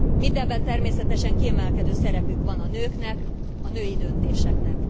Mindebben természetesen kiemelkedő szerepük van a nőknek, a női döntéseknek.